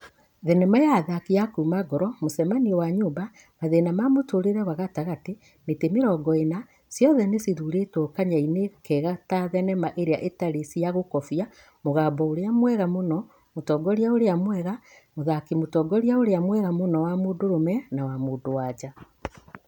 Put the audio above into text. Thenema na athaki a kuuma Ngoro, Mũcemanio wa nyũmba, Mathĩna ma Mũtũrĩre wa Gatagatĩ, Mĩtĩ Mĩrongo ĩna, ciothe nicithurĩtwo kanyainĩ kega ta thenema ĩrĩa ĩtarĩ cia gũkobĩa, mũgambo ũrĩa mwega mũno, mũtongoria ũrĩa mwega, mũthaki mũtongoria ũrĩa mwega mũno wa mũndũrũme na wa mũndũ wa nja.